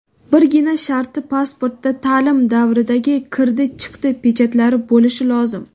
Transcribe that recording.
Birgina sharti pasportda taʼlim davridagi "kirdi-chiqdi" pechatlari bo‘lishi lozim.